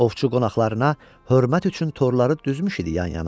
Ovçu qonaqlarına hörmət üçün torları düzmüş idi yan-yana.